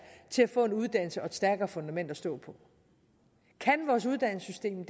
få en uddannelse og et stærkere fundament at stå på kan vores uddannelsessystem